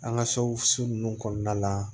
An ka so su ninnu kɔnɔna la